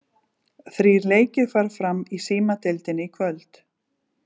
Þrír leikir fara fram í Símadeildinni í kvöld.